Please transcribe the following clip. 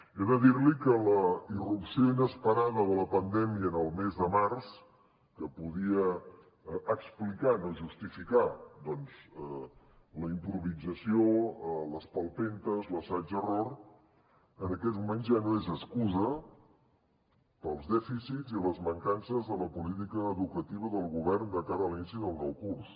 he de dir li que la irrupció inesperada de la pandèmia el mes de març que podia explicar no justificar doncs la improvisació a les palpentes l’assaig error en aquests moments ja no és excusa per als dèficits i les mancances de la política educativa del govern de cara a l’inici del nou curs